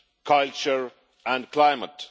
culture and climate.